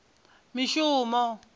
mishumo